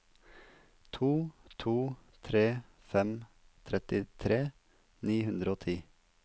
to to tre fem trettitre ni hundre og ti